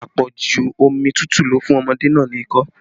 Apoju omi tútù ló fún ọmọdé náà ni ikọ́